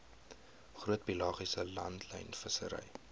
groot pelagiese langlynvissery